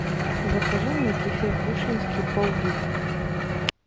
закажи мне кефир кушинский пол литра